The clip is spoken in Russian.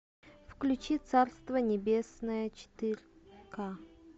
включи царство небесное четыре ка